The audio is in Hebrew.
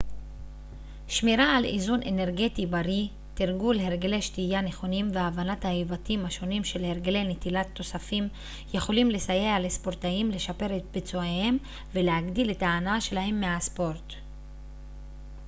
שמירה על איזון אנרגטי בריא תרגול הרגלי שתייה נכונים והבנת ההיבטים השונים של הרגלי נטילת תוספים יכולים לסייע לספורטאים לשפר את ביצועיהם ולהגדיל את ההנאה שלהם מהספורט